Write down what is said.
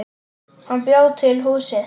Hann bjó til húsið.